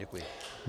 Děkuji.